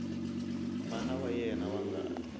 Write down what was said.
mana wa yena wa ngati